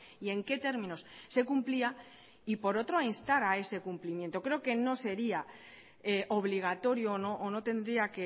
y en qué términos se cumplía y por otro a instar a ese cumplimiento creo que no sería obligatorio o no tendría